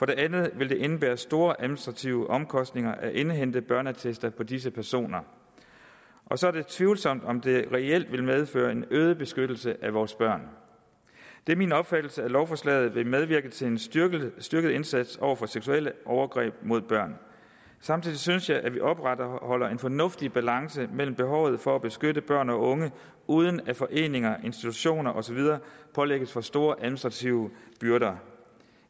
det andet vil det indebære store administrative omkostninger at indhente børneattester på disse personer og så er det tvivlsomt om det reelt ville medføre en øget beskyttelse af vores børn det er min opfattelse at lovforslaget vil medvirke til en styrket styrket indsats over for seksuelle overgreb mod børn samtidig synes jeg vi opretholder en fornuftig balance med hensyn til behovet for at beskytte børn og unge uden at foreninger institutioner og så videre pålægges for store administrative byrder